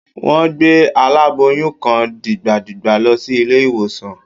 Wọ́n gbé aláboyún kan dìgbàdìgbà lọ sí ilé-ìwòsàn